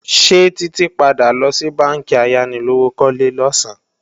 Ṣé Títí padà lọ sí bánkì ayánilówókọ́lé losan?